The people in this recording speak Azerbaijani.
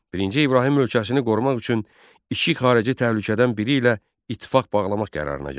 Birinci İbrahim ölkəsini qorumaq üçün iki xarici təhlükədən biri ilə ittifaq bağlamaq qərarına gəldi.